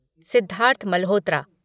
Siddharth Malhotra